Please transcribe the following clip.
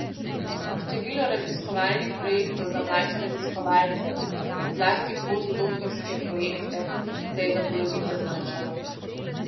Število raziskovalnih projektov za mlajše raziskovalce, zlasti postdoktorske projekte, se je za polovico zmanjšalo.